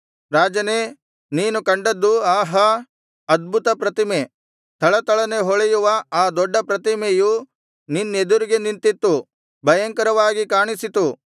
ರಾಜನೇ ನೀನು ಕಂಡದ್ದು ಆಹಾ ಅದ್ಭುತಪ್ರತಿಮೆ ಥಳಥಳನೆ ಹೊಳೆಯುವ ಆ ದೊಡ್ಡ ಪ್ರತಿಮೆಯು ನಿನ್ನೆದುರಿಗೆ ನಿಂತಿತ್ತು ಭಯಂಕರವಾಗಿ ಕಾಣಿಸಿತು